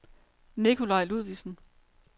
Nikolaj Ludvigsen